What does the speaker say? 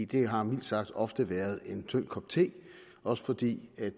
det har mildt sagt ofte været en tynd kop te også fordi